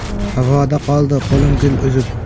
Havoda qoldi Qo‘lim gul uzib.